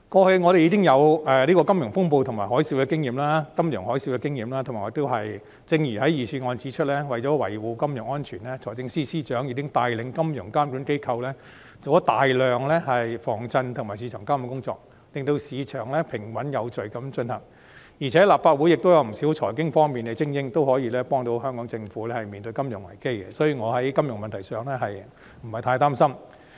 香港已經有金融風暴和金融海嘯的經驗，正如預算案指出，為了維護金融安全，財政司司長已經帶領金融監管機構進行大量防震及市場監管工作，令市場平穩有序地運行，而且立法會亦有不少財經精英可以協助香港政府面對金融危機，所以我在金融問題上不太擔心。